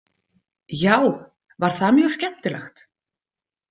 Já, var það mjög skemmtilegt?